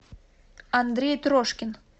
андрей трошкин